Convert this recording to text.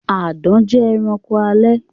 Àdán jẹ ẹranko alè.